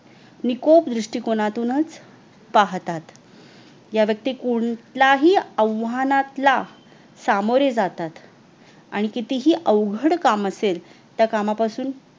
निकोट दृष्टिकोणातुंच पहतात या व्यक्ती कोंत्याही आव्हानांला सामोरे जातात आणि कितिही अवघड़ काम असल त्या कमापासून